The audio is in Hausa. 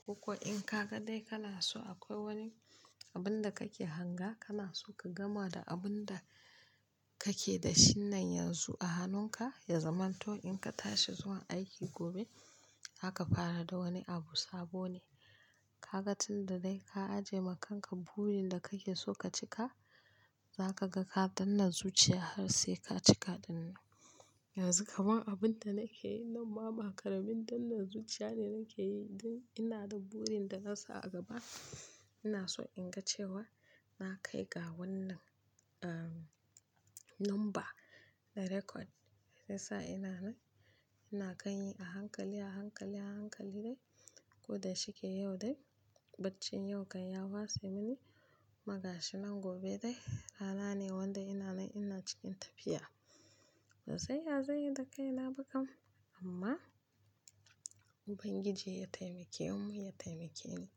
Koko in ka ga dai kana so akwai wani abun da kake hanga, kana so ka gama da abun da kake da shi nan yanzu a hannunka, ya zamanto in ka tashi zuwa aiki gobe, zaka fara da wani abu sabo ne. Ka ga tun da dai ka ajiye ma kanka burin da kake so ka cika, zaka ga ka danne zuciya har sai ka cika dinnan. Yanzu kaman abin da nake yi nan ma, ba karin dannan zuciya ne nake yi, don ina da burin da na sa a gaba. Ina so in ga cewa na kai ga wannan, umm, number da record. Sai sa ina nan, ina kan yi a hankali, a hankali, a hankali dai. Ko da shike yau dai, baccin yau kan ya wasa mini, kuma gashi nan gobe dai. Rana ne wanda ina nan ina cikin tafiya. Ban san ya zanyi da kaina ba kam, amma Ubangiji ya taimake mu, ya taimake ni.